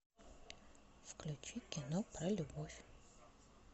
включи кино про любовь